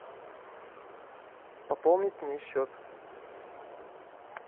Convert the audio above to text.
пополнить мне счет